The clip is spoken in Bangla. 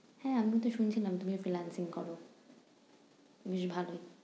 হ্যাঁ আমিতো শুনছিলাম তুমি freelancing করো। বেশ ভালোই।